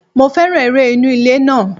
Mo féràn eré inú ilé náà.